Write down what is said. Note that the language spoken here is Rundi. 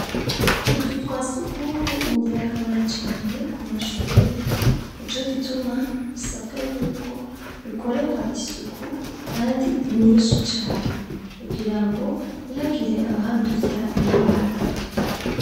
Utuzu twa si ugumye ningira akamaro cane ku mashure ni co gituma bisabwa yuko bikorerwa isuku, kandi inyinshi cane kugira ngo ihagire abahandurira ingwara.